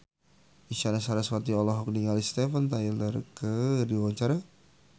Isyana Sarasvati olohok ningali Steven Tyler keur diwawancara